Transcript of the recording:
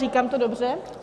Říkám to dobře?